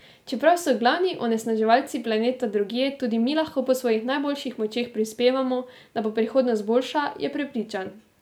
Čeprav so glavni onesnaževalci planeta drugje, tudi mi lahko po svojih najboljših močeh prispevamo, da bo prihodnost boljša, je prepričan.